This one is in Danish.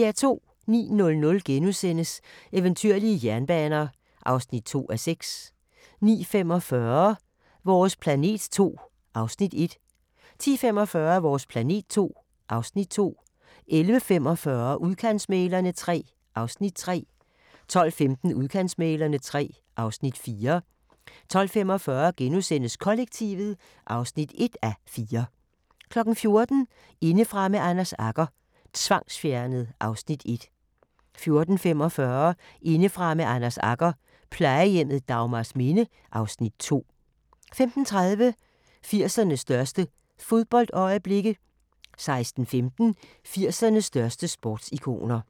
09:00: Eventyrlige jernbaner (2:6)* 09:45: Vores planet II (Afs. 1) 10:45: Vores planet II (Afs. 2) 11:45: Udkantsmæglerne III (Afs. 3) 12:15: Udkantsmæglerne III (Afs. 4) 12:45: Kollektivet (1:4)* 14:00: Indefra med Anders Agger – Tvangsfjernet (Afs. 1) 14:45: Indefra med Anders Agger – Plejehjemmet Dagmarsminde (Afs. 2) 15:30: 80'ernes største fodboldøjeblikke 16:15: 80'ernes største sportsikoner